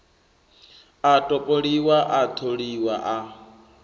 a topoliwa a tholiwa a